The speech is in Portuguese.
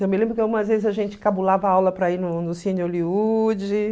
Eu me lembro que algumas vezes a gente cabulava aula para ir no no Cine Hollywood.